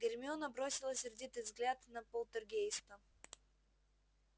гермиона бросила сердитый взгляд на полтергейста